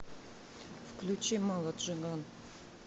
включи мало джиган